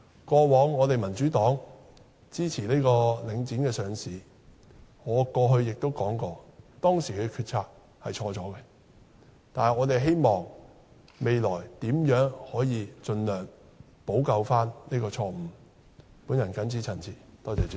過往民主黨支持領展上市，我過去也說過，當時的決策是錯誤的，但我們希望未來可以盡量補救這個錯誤。